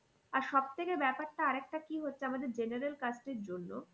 আর সব থেকে ব্যাপারটা আর একটা কি হচ্ছে আমাদের general caste এর জন্য